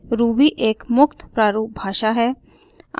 ruby एक मुक्त प्रारूप भाषा है